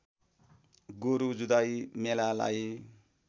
गोरु जुधाइ मेलालाई